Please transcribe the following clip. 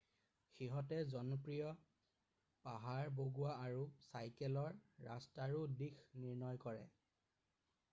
সিহঁতে জনপ্ৰিয় পাহাৰ বগোৱা আৰু চাইকেলৰ ৰাস্তাৰো দিশ নিৰ্ণয় কৰে